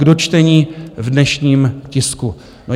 K dočtení v dnešním tisku.